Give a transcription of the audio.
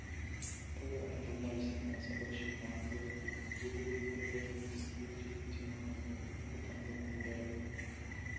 бұл оның журналистік мансабы үшін маңызды еді екі жолдың екеуі де өте маңызды екі таңдаудың бірі